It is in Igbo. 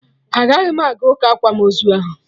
Agaghị m aga ụka akwamozu ahụ